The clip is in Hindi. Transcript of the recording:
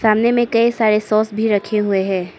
सामने में कई सारे सॉस भी रखें हुए हैं।